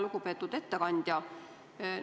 Lugupeetud ettekandja!